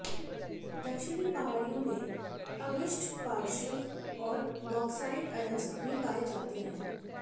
दक्षिणी पहाड़ियों में अवशिष्ट पार्श्व और बॉक्साइट अयस्क भी पाए जाते हैं